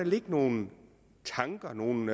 ligge nogle tanker nogle